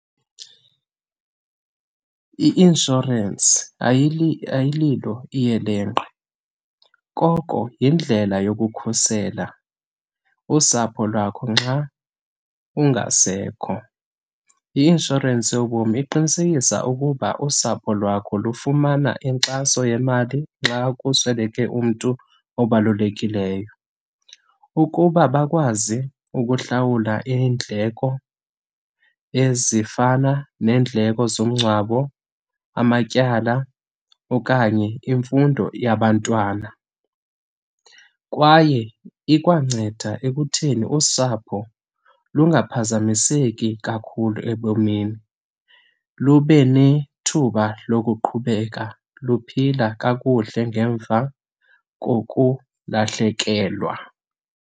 I-inshorensi ayililo iyelenqe, koko yindlela yokukhusela usapho lwakho nxa ungasekho. I-inshorensi yobomi iqinisekisa ukuba usapho lwakho lufumana inkxaso yemali nxa kusweleke umntu obalulekileyo ukuba bakwazi ukuhlawula iindleko ezifana neendleko zomngcwabo, amatyala okanye imfundo yabantwana. Kwaye ikwanceda ekutheni usapho lungaphazamiseki kakhulu ebomini, lube nethuba lokuqhubeka luphila kakuhle ngemva kokulahlekelwa.